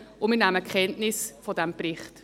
Wir nehmen Kenntnis von diesem Bericht.